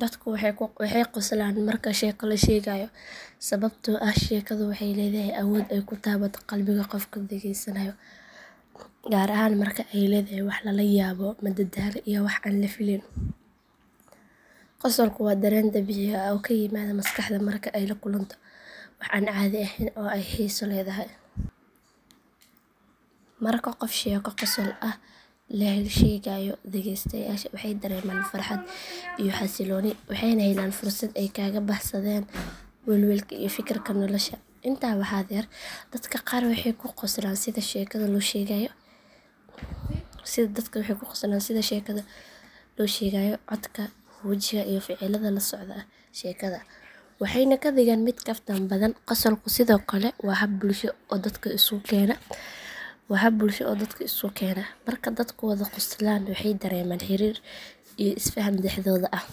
Dadku waxay qoslaan marka sheeko la sheegayo sababtoo ah sheekadu waxay leedahay awood ay ku taabato qalbiga qofka dhageysanaya, gaar ahaan marka ay leedahay wax lala yaabo, madadaalo iyo wax aan la filayn. Qosolku waa dareen dabiici ah oo ka yimaada maskaxda marka ay la kulanto wax aan caadi ahayn oo ay xiiso leedahay. Marka qof sheeko qosol leh sheegayo, dhageystayaasha waxay dareemaan farxad iyo xasilooni waxayna helaan fursad ay kaga baxsadaan welwelka iyo fikirka nolosha. Intaa waxaa dheer, dadka qaar waxay ku qoslaan sida sheekada loo sheegayo, codka, wajiga iyo ficilada la socda sheekada waxayna ka dhigaan mid kaftan badan. Qosolku sidoo kale waa hab bulsho oo dadka isu keena, marka dadku wada qoslaan waxay dareemaan xiriir iyo isfaham dhexdooda ah.